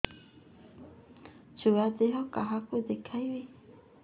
ଛୁଆ ଦେହ କାହାକୁ ଦେଖେଇବି